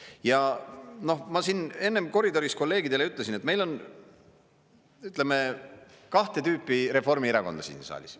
Ja ma siin enne koridoris kolleegidele ütlesin, et meil on, ütleme, kahte tüüpi Reformierakonda siin saalis.